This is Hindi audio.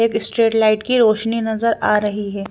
एक स्ट्रेट लाइट की रोशनी नजर आ रही है।